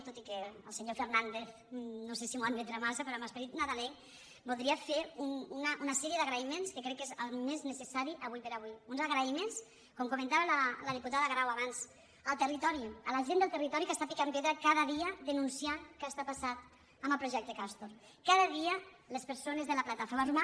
tot i que el senyor fernàndez no sé si m’ho admetrà massa però amb esperit nadalenc voldria fer una sèrie d’agraïments que crec que és el més necessari ara com ara uns agraïments com ho comentava la diputada grau abans al territori a la gent del territori que està picant pedra cada dia denunciant què està passant amb el projecte castor cada dia les persones de la plataforma